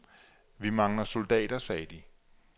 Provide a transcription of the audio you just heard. Vi mangler soldater, sagde de.